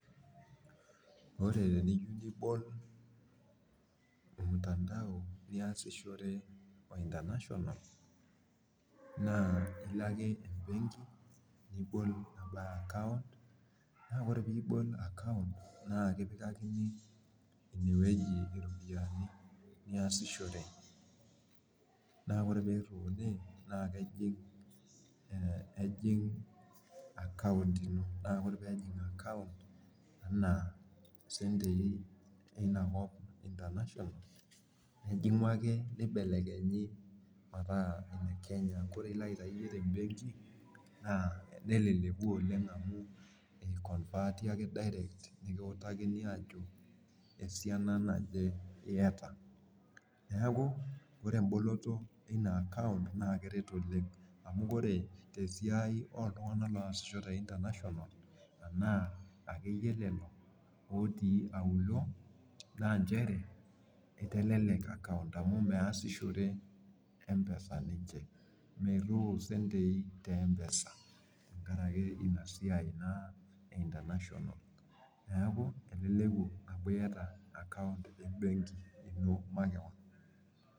ore tiniyieu nibol olmutandao pee iyasishore international ilo ake ebenki nibol account naa ore pee ibol nikipikani iropiyiani ineweji niyasishore, naa kejing account ino naa ore pee ejing account ino naa sentii einakop kake ore pee ilo iyie aitayu neleku oleng amu amu I convert ake nepuku enaduo siana niyieu, neeku ore eboloto eina account naa kelelek oleng' otii aulo naa itelelek akaunt aa ichere meroyo impesai te benki neeku etelelia amu etaa iyata akaunt e international ino.